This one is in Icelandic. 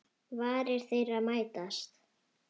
Varir þeirra mætast.